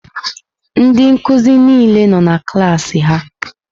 Ndị nkuzi niile nọ na klaasị ha.